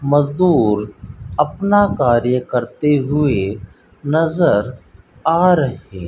मजदूर अपना कार्य करते हुए नजर आ रहे --